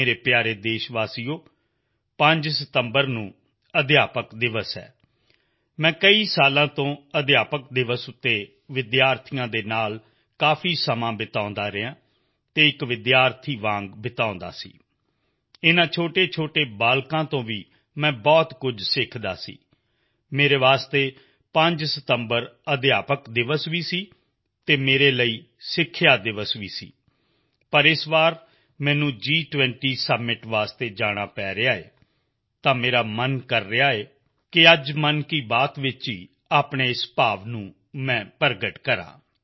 ਮੇਰੇ ਪਿਆਰੇ ਦੇਸ਼ਵਾਸੀਓ 5 ਸਤੰਬਰ ਅਧਿਆਪਕ ਦਿਵਸ ਹੈ ਮੈਂ ਕਈ ਸਾਲਾਂ ਤੋਂ ਅਧਿਆਪਕ ਦਿਵਸ ਤੇ ਵਿਦਿਆਰਥੀਆਂ ਨਾਲ ਕਾਫੀ ਸਮਾਂ ਬਿਤਾਉਂਦਾ ਰਿਹਾ ਅਤੇ ਇੱਕ ਵਿਦਿਆਰਥੀ ਦੀ ਤਰ੍ਹਾਂ ਬਿਤਾਉਂਦਾ ਸੀ ਇਨ੍ਹਾਂ ਛੋਟੇਛੋਟੇ ਬੱਚਿਆਂ ਤੋਂ ਵੀ ਮੈਂ ਬਹੁਤ ਕੁਝ ਸਿੱਖਦਾ ਸੀ ਮੇਰੇ ਲਈ 5 ਸਤੰਬਰ ਅਧਿਆਪਕ ਦਿਵਸ ਵੀ ਸੀ ਅਤੇ ਮੇਰੇ ਲਈ ਸਿੱਖਿਆ ਦਿਵਸ ਵੀ ਸੀ ਪਰ ਇਸ ਵਾਰ ਮੈਨੂੰ G20 ਸੁੰਮਿਤ ਲਈ ਜਾਣਾ ਪੈ ਰਿਹਾ ਹੈ ਤਾਂ ਮੇਰਾ ਮਨ ਕਰ ਗਿਆ ਕਿ ਅੱਜ ਮਨ ਕੀ ਬਾਤ ਵਿੱਚ ਹੀ ਆਪਣੇ ਇਸ ਭਾਵ ਨੂੰ ਮੈਂ ਪ੍ਰਗਟ ਕਰਾਂ